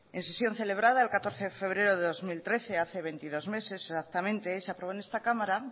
en sesión celebrada el catorce de febrero de dos mil trece hace veintidós meses exactamente se aprobó en esta cámara